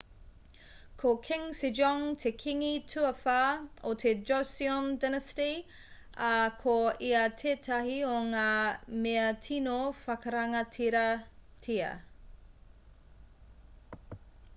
ko king sejong te kīngi tuawhā o te joseon dynasty ā ko ia tētahi o ngā mea tino whakarangatiratia